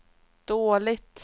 dåligt